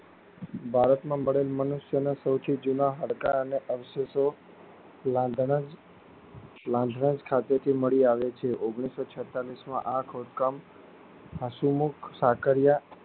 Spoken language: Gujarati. ભારતમાં મળેલ મનુષ્ય નો સૌથી જૂના હાડકા અને અવશેષો લાન્ધાનાજ લાન્ધાનાજ ખાતે થી મળી આવે છે. ઓગનીશો છેતળીશ માં આ ખોંદકામ અસહુમુખ સાકરીયા